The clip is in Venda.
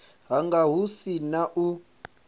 hanga hu si na u